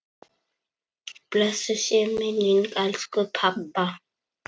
Blessuð sé minning elsku pabba.